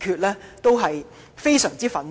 我們感到非常憤怒。